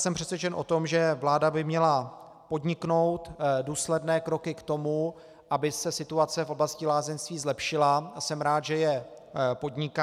Jsem přesvědčen o tom, že vláda by měla podniknout důsledné kroky k tomu, aby se situace v oblasti lázeňství zlepšila, a jsem rád, že je podniká.